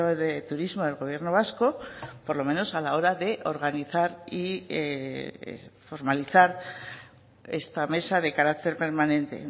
de turismo del gobierno vasco por lo menos a la hora de organizar y formalizar esta mesa de carácter permanente